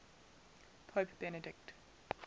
pope benedict